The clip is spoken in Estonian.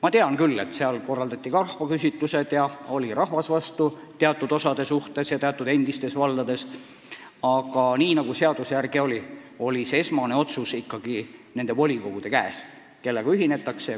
Ma tean küll, et korraldati ka rahvaküsitlusi ja rahvas polnud mõnes endises vallas teatud osade saatusega rahul, aga nii nagu seadus ütles, esmane otsus, kellega ühinetakse, oli ikkagi volikogude käes.